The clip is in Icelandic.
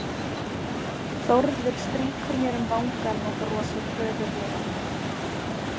Þórður strýkur mér um vangann og brosir föðurlega.